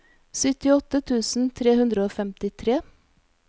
syttiåtte tusen tre hundre og femtitre